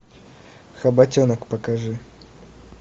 хоботенок покажи